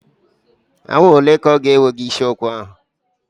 Awa ole ka ọ ga-ewe gị isi ụkwa ahụ?